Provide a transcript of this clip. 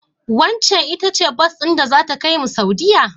Waccen ita ce bas din da zata kaimu Saudiyya?